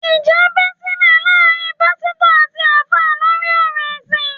Ìjà bẹ́ sílẹ̀ láàárín Pásítọ̀ àti Alfa lórí ọ̀rọ̀ ẹ̀sìn